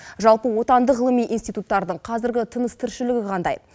жалпы отандық ғылыми институттардың қазіргі тыныс тіршілігі қандай